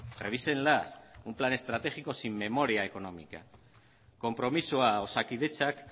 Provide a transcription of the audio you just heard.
revísenlas un plan estratégico sin memoria económica konpromisoa osakidetzak